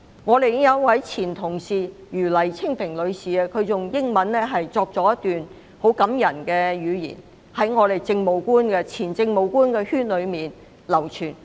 我們的前同事余黎青萍女士以英文寫出一段很感人的文字，並已在前政務官圈內流傳。